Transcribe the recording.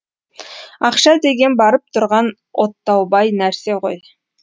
ақша деген барып тұрған оттаубай нәрсе ғой